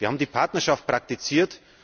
Wir haben die Partnerschaft praktiziert.